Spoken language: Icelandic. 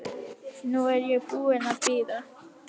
Nú er ég búin að bíða.